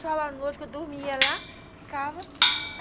Só na noite que eu dormia lá, ficava.